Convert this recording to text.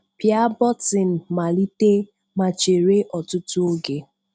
Pịa bọ́tịǹ Malítè ma chérè̀ ọ̀tụ̀tụ̀ oge.